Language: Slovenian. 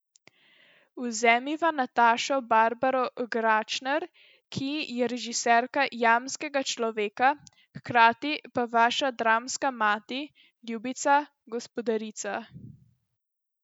Vzemiva Natašo Barbaro Gračner, ki je režiserka Jamskega človeka, hkrati pa vaša dramska mati, ljubica, gospodarica ...